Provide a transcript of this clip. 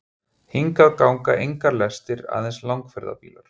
Hingað ganga engar lestir, aðeins langferðabílar.